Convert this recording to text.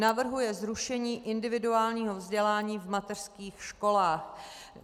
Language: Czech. Navrhuje zrušení individuálního vzdělání v mateřských školách.